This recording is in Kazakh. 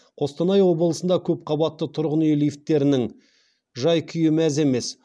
қостанай облысында көп қабатты тұрғын үй лифттерінің жай күйі мәз емес